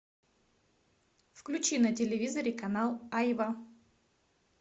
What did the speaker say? включи на телевизоре канал айва